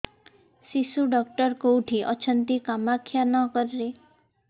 ଶିଶୁ ଡକ୍ଟର କୋଉଠି ଅଛନ୍ତି କାମାକ୍ଷାନଗରରେ